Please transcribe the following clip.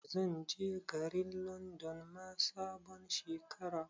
Zan je Garin Landon ma sabon Shekara